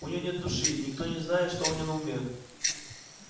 у неё нет души и никто не знает что у неё на уме